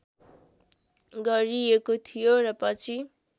गरिएको थियो र पछि